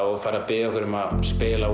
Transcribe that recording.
og farið að biðja okkur að spila